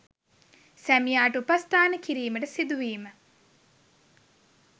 සැමියාට උපස්ථාන කිරීමට සිදුවීම